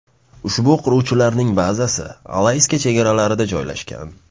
Ushbu qiruvchilarning bazasi Alyaska chegaralarida joylashgan.